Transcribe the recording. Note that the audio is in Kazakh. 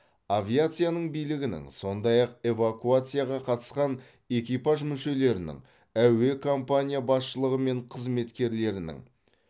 авиацияның билігінің сондай ақ эвакуацияға қатысқан экипаж мүшелерінің әуе компания басшылығы мен қызметкерлерінің